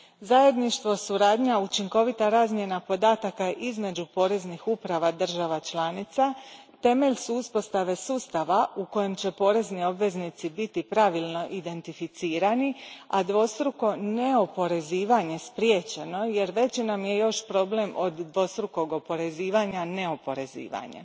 Zajedništvo, suradnja, učinkovita razmjena podataka između poreznih uprava država članica temelj su uspostave sustava u kojem će porezni obveznici biti pravilno identificirani, a dvostruko neoporezivanje spriječeno, jer još veći nam je problem od dvostrukog oporezivanja neoporezivanje.